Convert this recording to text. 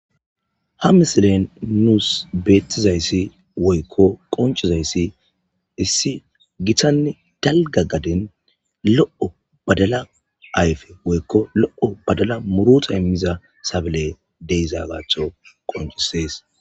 ha misilen nuus beettizayssi woykko qoncizayssi issi gitanne dalga gaden lo7o badala ayfe woykko lo7o badala muruta immiza sabale deiza gaatho qoncisees